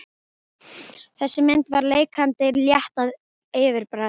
Þessi mynd er leikandi létt að yfirbragði.